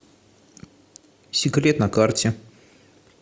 секрет на карте